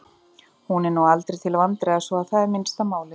Hún er nú aldrei til vandræða svo að það er minnsta málið.